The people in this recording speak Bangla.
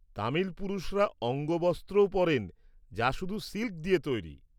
তামিল পুরুষরা অঙ্গবস্ত্রও পরেন যা শুধু সিল্ক দিয়ে তৈরি।